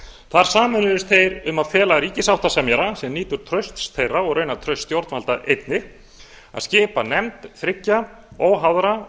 þar sameinuðust þeir um að fela ríkissáttasemjara sem nýtur trausts þeirra og raunar trausts stjórnvalda einnig að skipa nefnd þriggja óháðra